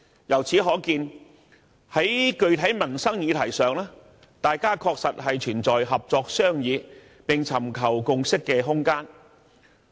由此可見，在具體民生議題上，大家確實存在合作商議並尋求共識的空間。